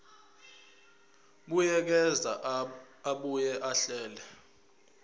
buyekeza abuye ahlele